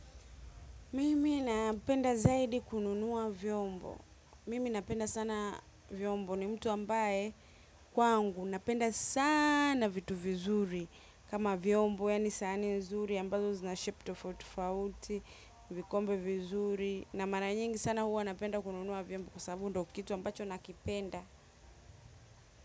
Mimi napenda zaidi kununua vyombo. Mimi napenda sana vyombo ni mtu ambaye kwangu napenda sana vitu vizuri kama vyombo yani sahani nzuri ambazo zina shepu tofauti tofauti, vikombe vizuri na mara nyingi sana huwa napenda kununua vyombo kwa sababu ndo kitu ambacho nakipenda.